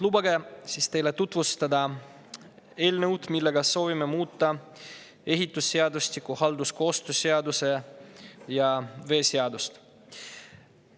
Lubage nüüd teile tutvustada eelnõu, millega soovime muuta ehitusseadustikku, halduskoostöö seadust ja veeseadust.